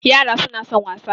Yara suna son wasa